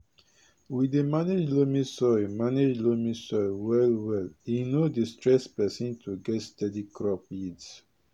we dey manage loamy soil manage loamy soil well well e no dey stress person to get steady crop yields